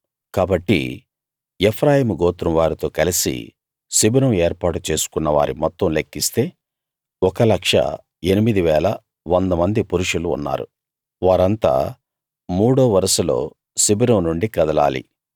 కాబట్టి ఎఫ్రాయిము గోత్రం వారితో కలసి శిబిరం ఏర్పాటు చేసుకున్న వారి మొత్తం లెక్కిస్తే 108100 మంది పురుషులు ఉన్నారు వారింతా మూడో వరుసలో శిబిరం నుండి కదలాలి